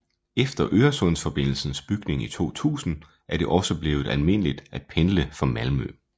Efter Øresundsforbindelsens bygning i 2000 er det også blevet almindeligt at pendle fra Malmø